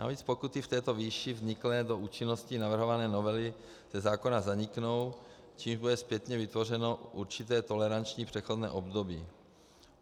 Navíc pokuty v této výši vzniklé do účinnosti navrhované novely ze zákona zaniknou, čímž bude zpětně vytvořeno určité toleranční přechodné období.